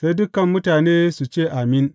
Sai dukan mutane su ce, Amin!